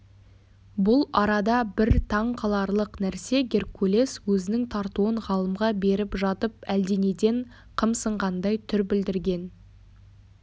бұл арада бір таң қаларлық нәрсе геркулес өзінің тартуын ғалымға беріп жатып әлденеден қымсынғандай түр білдірген